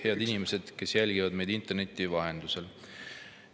Head inimesed, kes te jälgite meid interneti vahendusel!